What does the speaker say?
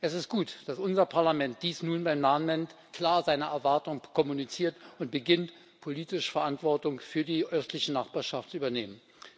Es ist gut, dass unser Parlament dies nun beim Namen nennt, klar seine Erwartungen kommuniziert und beginnt, politische Verantwortung für die östliche Nachbarschaft zu übernehmen.